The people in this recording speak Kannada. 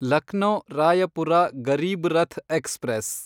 ಲಕ್ನೋ ರಾಯಪುರ ಗರೀಬ್ ರಥ್ ಎಕ್ಸ್‌ಪ್ರೆಸ್